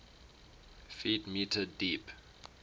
ft m deep